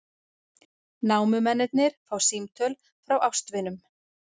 Námumennirnir fá símtöl frá ástvinum